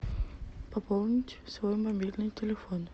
пополнить свой мобильный телефон